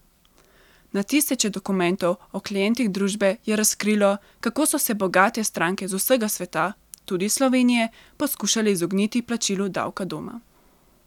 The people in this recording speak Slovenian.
Na tisoče dokumentov o klientih družbe je razkrilo, kako so se bogate stranke z vsega sveta, tudi Slovenije, poskušale izogniti plačilu davka doma.